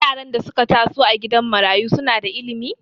Yaran da suka taso a gidajen marayu suna da ilimi